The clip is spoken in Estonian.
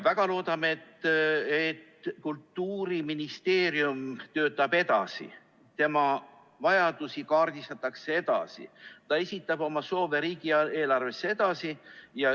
Väga loodame, et Kultuuriministeerium töötab edasi, tema vajadusi kaardistatakse edasi, ta esitab oma soove riigieelarvesse edasi.